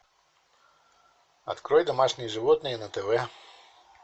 открой домашние животные на тв